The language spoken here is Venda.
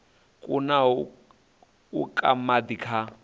kunaho u ka madi kha